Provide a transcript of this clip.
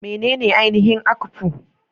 Menene ainihin akpu?